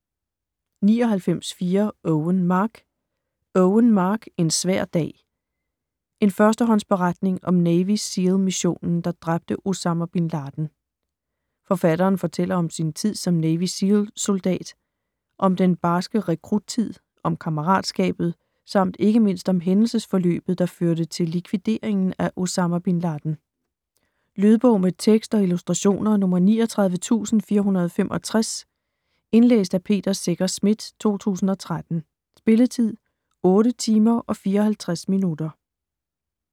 99.4 Owen, Mark Owen, Mark: En svær dag: en førstehåndsberetning om Navy SEAL missionen der dræbte Osama Bin Laden Forfatteren fortæller om sin tid som Navy Seal soldat. Om den barske rekruttid, om kammeratskabet samt ikke mindst om hændelsesforløbet der førte til likvideringen af Osama bin Laden. Lydbog med tekst og illustrationer 39465 Indlæst af Peter Secher Schmidt, 2013. Spilletid: 8 timer, 54 minutter.